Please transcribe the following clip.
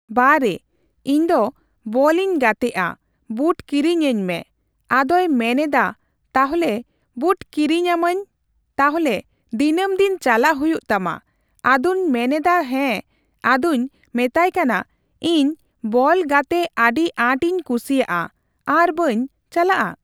ᱵᱟᱨᱮ ᱤᱧ ᱫᱚ ᱵᱚᱞᱤᱧ ᱜᱟᱛᱮᱜᱼᱟ, ᱵᱩᱴ ᱠᱤᱨᱤᱧ ᱟᱹᱧ ᱢᱮ ᱾ ᱟᱫᱚᱭ ᱢᱮᱱ ᱮᱫᱟ ᱛᱟᱦᱞᱮ ᱵᱩᱴ ᱠᱤᱨᱤᱧ ᱟᱹᱢᱟᱹᱧ ᱛᱟᱦᱞᱮ ᱫᱤᱱᱟᱹᱢ ᱫᱤᱱ ᱪᱟᱞᱟᱜ ᱦᱩᱭᱩᱜ ᱛᱟᱢᱟ ᱾ᱟᱫᱚᱧ ᱢᱮᱱ ᱮᱫᱟ ᱦᱮᱸ, ᱟᱫᱚᱧ ᱢᱮᱛᱟᱭ ᱠᱟᱱᱟ ᱤᱧ ᱵᱚᱞ ᱜᱟᱛᱮᱜ ᱟᱹᱰᱤ ᱟᱸᱴ ᱤᱧ ᱠᱩᱥᱤᱭᱟᱜᱼᱟ ᱟᱨ ᱵᱟᱹᱧ ᱪᱟᱞᱟᱜᱼᱟ ?